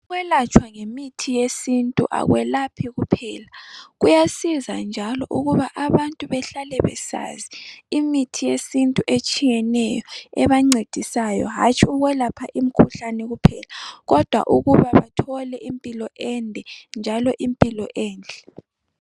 Ukwelatshwa ngemithi yesintu akwelaphi kuphela . Kuyasiza njalo ukuba abantu bahlale besazi imithi yesintu etshiyeneyo ebancedisayo hatshi ukwelapha imikhuhlane kuphela kodwa ukuba bathole impilo ende njalo impilo enhle.